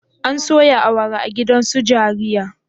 An soya awara a gidan su jariya?